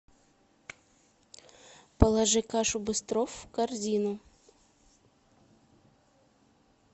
положи кашу быстров в корзину